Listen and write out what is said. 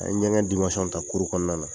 An ye ɲɛgɛn ta kuru kɔnɔna na.